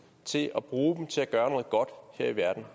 til at bruge dem til at gøre noget godt her i verden